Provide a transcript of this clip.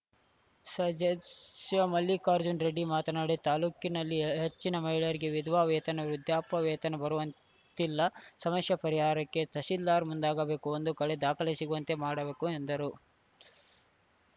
ಸದಸ್ಯ ಮಲ್ಲಿಕಾರ್ಜುನ ರೆಡ್ಡಿ ಮಾತನಾಡಿ ತಾಲೂಕಿನಲ್ಲಿ ಹೆಚ್ಚಿನ ಮಹಿಳೆಯರಿಗೆ ವಿಧವಾ ವೇತನ ವೃದ್ಧಾಪ್ಯ ವೇತನ ಬರುವಂತ್ತಿಲ್ಲ ಸಮಸ್ಯೆ ಪರಿಹಾರಕ್ಕೆ ತಹಸೀಲ್ದಾರ್‌ ಮುಂದಾಗಬೇಕು ಒಂದೆ ಕಡೆ ದಾಖಲೆ ಸಿಗುವಂತೆ ಮಾಡಬೇಕು ಎಂದರು